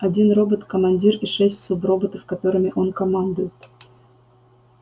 один робот командир и шесть суброботов которыми он командует